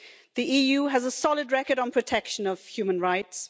The EU has a solid record on protection of human rights.